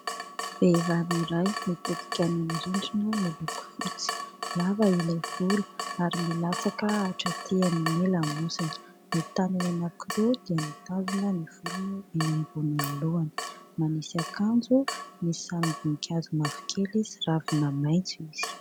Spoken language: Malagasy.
Vehivavy iray mitodika any amin'ny rindrina miloko fotsy, lava ilay volo ary milatsaka hatraty amin'ny lamosiny. Ny tanany anankiroa dia mitazona ny volony eny ambonin'ny l lohany, manisy akanjo ny sarim-bonin-kazo mavokely sy ravina maintso izy.